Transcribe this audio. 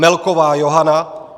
Melková Johana